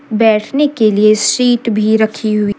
बैठने के लिए सीट भी रखी हुई--